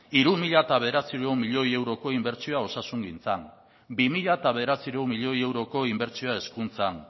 hiru mila bederatziehun milioi euroko inbertsioa osasungintzan bi mila bederatziehun milioi euroko inbertsioa hezkuntzan